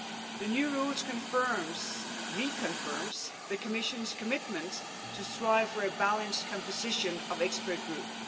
The new rules confirm reconfirm the Commission's commitment to strive for a balanced composition of expert groups.